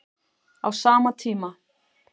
Á sama tíma